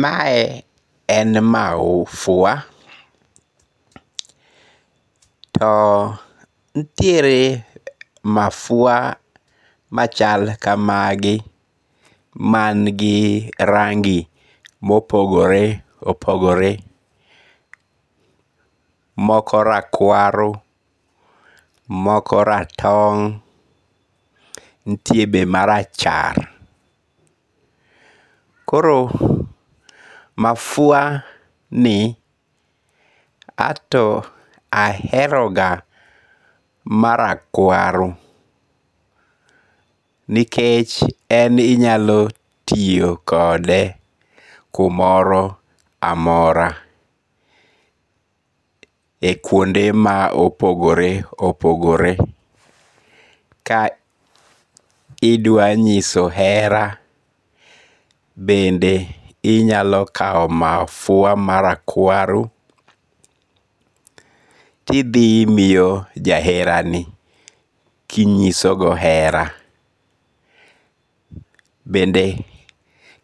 Mae en mafua, to nitiere mafua machal kamagi mangi rangi' mopogore opogore, moko rakwaro , moko ratong' nitie be marachar, koro mafua ni anto aheroga marakwaro nikech en inyalo tiyo kode kumoro amora e kwonde ma opogore opogore, ka idwanyiso hera bende inyalo kawo mafua mara kwaro tithimiyo jaherani kinyisogo hera, bende